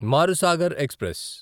Marusagar express